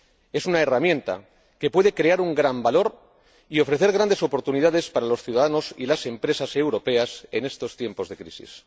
Es una herramienta que puede crear un gran valor y ofrecer grandes oportunidades para los ciudadanos y las empresas europeas en estos tiempos de crisis.